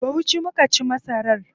A Bauchi muka ci masar.